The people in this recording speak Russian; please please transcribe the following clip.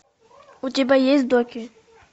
у тебя есть доки